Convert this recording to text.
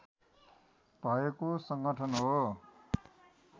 भएको सङ्गठन हो